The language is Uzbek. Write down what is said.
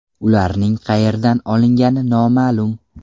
Ularning qayerdan olingani noma’lum.